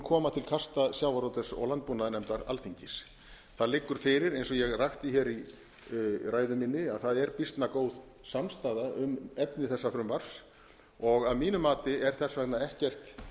koma til kasta sjávarútvegs og landbúnaðarnefndar alþingis það liggur fyrir eins og ég rakti hér í ræðu minni að það er býsna góð samstaða um efni þessa frumvarps að mínu mati er þess vegna ekkert